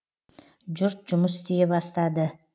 жұрт жұмыс істей бастады